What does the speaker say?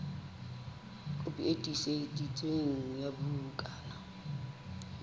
kopi e tiiseditsweng ya bukana